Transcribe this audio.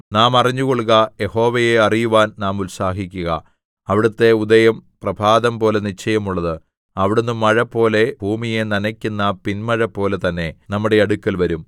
നാം അറിഞ്ഞുകൊള്ളുക യഹോവയെ അറിയുവാൻ നാം ഉത്സാഹിക്കുക അവിടുത്തെ ഉദയം പ്രഭാതം പോലെ നിശ്ചയമുള്ളത് അവിടുന്ന് മഴപോലെ ഭൂമിയെ നനയ്ക്കുന്ന പിൻമഴപോലെ തന്നെ നമ്മുടെ അടുക്കൽ വരും